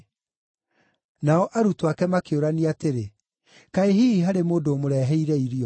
Nao arutwo ake makĩũrania atĩrĩ, “Kaĩ hihi harĩ mũndũ ũmũreheire irio?”